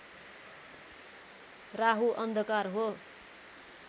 राहु अन्धकार हो